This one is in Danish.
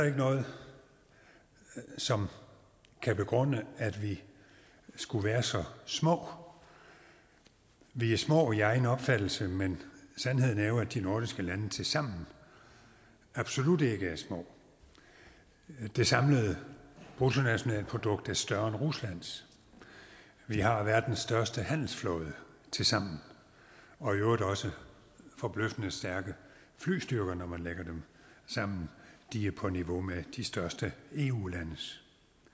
ikke noget som kan begrunde at vi skulle være så små vi er små i egen opfattelse men sandheden er jo at de nordiske lande tilsammen absolut ikke er små det samlede bruttonationalprodukt er større end ruslands vi har verdens største handelsflåde tilsammen og i øvrigt også forbløffende stærke flystyrker når man lægger dem sammen de er på niveau med de største eu landes